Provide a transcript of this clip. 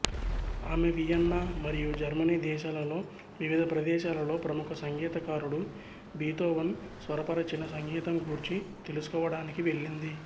ఆమె వియన్నా మరియ జర్మనీ దేశాలలో వివిధ ప్రదేశాలలో ప్రముఖ సంగీతకారుడు బీతోవన్ స్వరపరచిన సంగీతం గూర్చి తెలుసుకోవడానికి వెళ్ళింది